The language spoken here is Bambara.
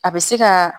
A bɛ se ka